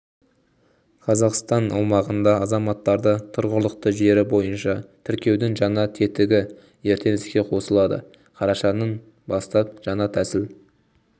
қазақстан аумағында азаматтарды тұрғылықты жері бойынша тіркеудің жаңа тетігі ертең іске қосылады қарашаның бастап жаңа тәсіл